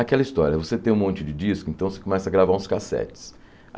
Aquela história, você tem um monte de disco, então você começa a gravar uns cassetes.